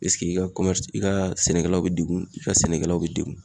pesike i ka kɔmɛrisi i ka sɛnɛkɛlaw be degun i ka sɛnɛkɛlaw be degun